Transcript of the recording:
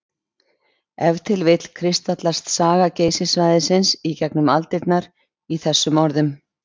Ef til vill kristallast saga Geysissvæðisins í gegnum aldirnar í þessum orðum.